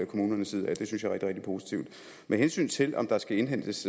kommunernes side og det synes jeg er rigtig rigtig positivt med hensyn til om der skal indhentes